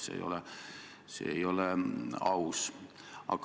See tõesti ei ole aus.